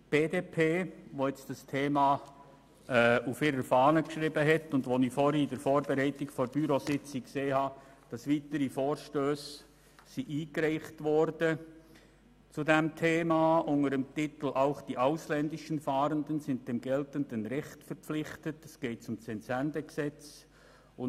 Die BDP hat sich dieses Thema auf die Fahne geschrieben und – wie ich an der Bürositzung festgestellt habe – weitere Vorstösse zu diesem Thema eingereicht unter dem Titel «Auch die ausländischen Fahrenden sind dem geltenden Recht verpflichtet», wobei es um das Entsendegesetz geht.